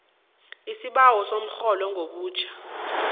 isibawo somrholo ngobutjha